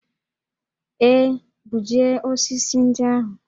Ee, gbujie osisi ndị ahụ